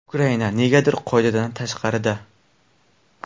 Ukraina negadir qoidadan tashqarida.